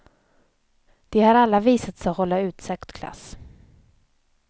De har alla visat sig hålla utsökt klass.